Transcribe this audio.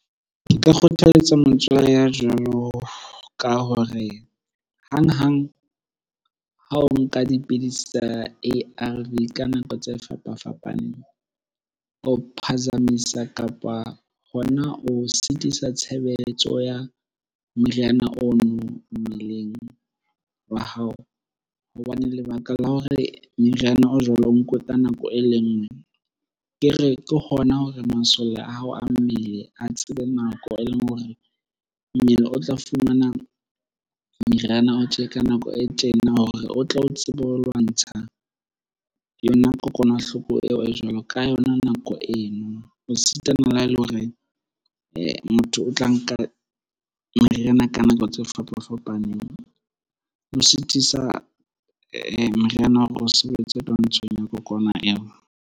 Nka kgothaletsa motswalle ya jwalo ka hore hang-hang ha o nka dipidisi tsa A_R_V ka nako tse fapa-fapaneng, o phazamisa kapa hona o sitisa tshebeletso ya meriana ono mmeleng wa hao. Hobane lebaka la hore meriana o jwalo o ka nako e le nngwe. Ke re, ke hona hore masole a hao a mmele a tsebe nako e leng hore mmele o tla fumana meriana o tje ka nako e tjena hore o tle o tsebe ho lwantsha yona kokwanahloko eo e jwalo ka yona nako eno. Ho sitana le ha e le hore motho o tla nka meriana ka nako tse fapa-fapaneng. Ho sitisa meriana hore o sebetse twantshong ya kokwana eo.